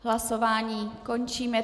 Hlasování končím.